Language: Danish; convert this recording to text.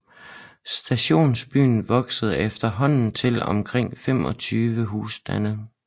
Stationsbyen voksede efterhånden til omkring 25 husstande